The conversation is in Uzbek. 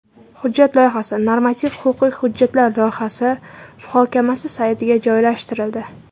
Hujjat loyihasi Normativ-huquqiy hujjatlar loyihasi muhokamasi saytiga joylashtirildi .